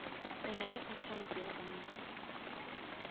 o nale account ya banka